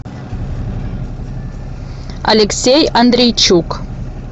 алексей андрейчук